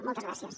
moltes gràcies